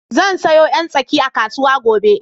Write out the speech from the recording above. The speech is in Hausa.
Zan sayo 'yan tsaki a kasu gobe.